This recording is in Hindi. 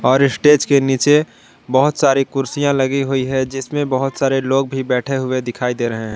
और स्टेज के नीचे बहोत सारी कुर्सियां लगी हुई है जिसमें बहोत सारे लोग भी बैठे हुए दिखाई दे रहे हैं।